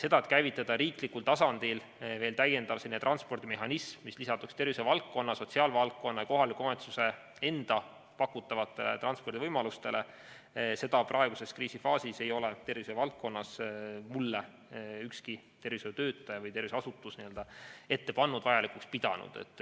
Seda, et käivitada riiklikul tasandil veel täiendav selline transpordimehhanism, mis lisanduks tervishoiuvaldkonna, sotsiaalvaldkonna ja kohaliku omavalitsuse enda pakutavatele transpordivõimalustele, ei ole praeguses kriisifaasis mulle ükski tervishoiutöötaja või tervishoiuasutus ette pannud, ei ole seda vajalikuks pidanud.